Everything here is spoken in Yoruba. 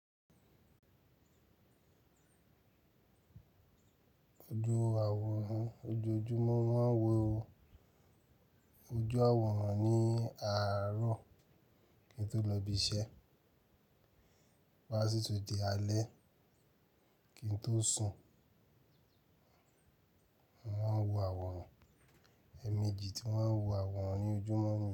Ojú àwòrán, ojoojúmọ́ máa ń wo ojú àwòrán ní àárọ̀ kí n tó lọ ibi iṣẹ́ wá sí tí di alẹ́ kí n tóó sùn. Wọn wo àwòrán, ẹ̀ẹ̀mejì tí wọ́n ń wo àwòrán ní ojúmọ́ ni.